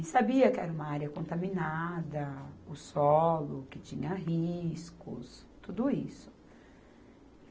E sabia que era uma área contaminada, o solo, que tinha riscos, tudo isso.